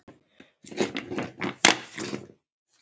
Félagið er átta ára gamalt.